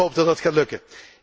Ik hoop dat dat gaat lukken.